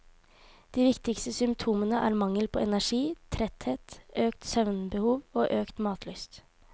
De viktigste symptomene er mangel på energi, tretthet, økt søvnbehov og økt matlyst.